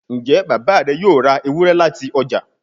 njé Bàbá rẹ yóò rá Ewúrẹ́ láti ọjà?